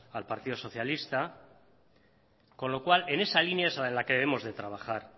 al partido socialista con lo cual en esa línea es en la que debemos de trabajar